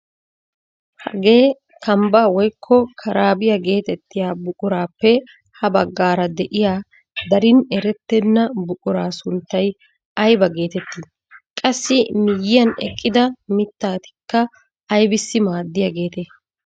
Hagee kambbaa woykko karaabiyaa getettiyaa buquraappe ha baggaara de'iyaa darin erettena buquraa sunttay ayba getettii? Qassi miyiyan eqqida mittatikka aybisi maaddiyaagetee?